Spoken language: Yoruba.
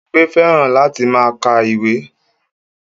Bímpé fẹ́ràn láti máa ka ìwé